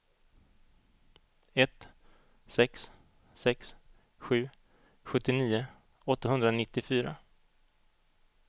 ett sex sex sju sjuttionio åttahundranittiofyra